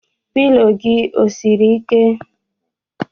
Pilo gị o siri ike?